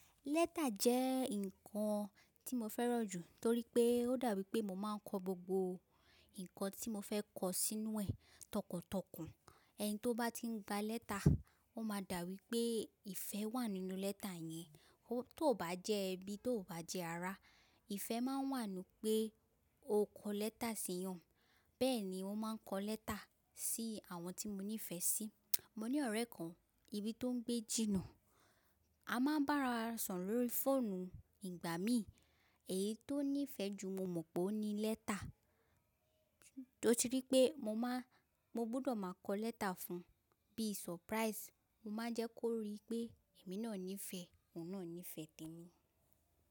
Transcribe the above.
Lẹ́tà jẹ́ ǹkan tí mo fẹ́ràn jù torí pé ó dà bi pé mo máa ń kọ gbogbo ǹkan tí mo fẹ́ kọ sínú ẹ̀ tọkàntọkàn. Ẹni tí ó bá tí ń gba lẹ́tà, ó máa dà wipé ìfẹ́ wà nínú lẹ́tà yẹn. Ó tó bá jẹ́ ẹbí tó bá jẹ́ ará. Ìfẹ́ máa ń wà nu pé o kọ lẹ́tà sí eeyan. Bẹ́ẹ̀ ni mo máa ń kọ lẹ́tà sí àwọn tí mo nífẹ̀ẹ́ sí. Mo ní ọ̀rẹ́ kan ibi tó ń gbé jìnnà, a máa ń bá ara soro lórí fóònù ìgbà míì. Èyí tó nífẹ̀ẹ́ jù mo mọ̀ pé ó ní lẹ́tà, ó ti rí pé mo máa Mo gbọdọ̀ máa kọ lẹ́tà fún un bí surprise. Mo máa ń jẹ́ kó rí pé èmi náà nífẹ̀ẹ́, òun náà nífẹ̀ẹ́ tẹ́mi.